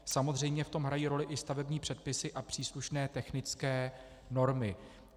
Samozřejmě v tom hrají roli i stavební předpisy a příslušné technické normy.